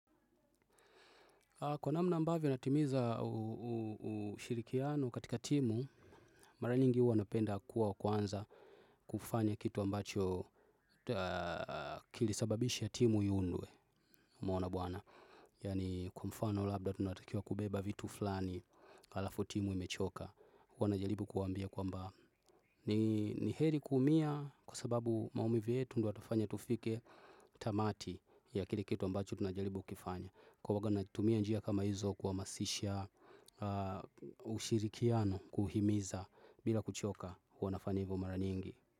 Kwa namna ambavyo natimiza ushirikiano katika timu, mara nyingi huwa napenda kuwa wa kwanza kufanya kitu ambacho kilisababisha timu iundwe umeona bwana. Yaani kwa mfano labda tunatakiwa kubeba vitu flani, alafu timu imechoka huwa najalibu kuwaambia kwamba ni heri kuumia kwa sababu maumivu yetu ndo yatufanya tufike tamati ya kile kitu ambacho tunajalibu kukifanya. Kwa uwaga natumia njia kama hizo kuamasisha ushirikiano kuhimiza bila kuchoka kwa nafanya hivyo mara nyingi.